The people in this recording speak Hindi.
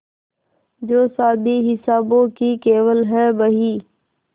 जो शादी हिसाबों की केवल है बही